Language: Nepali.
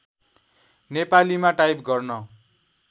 नेपालीमा टाइप गर्न